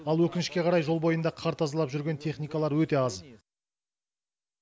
ал өкінішке қарай жол бойында қар тазалап жүрген техникалар өте аз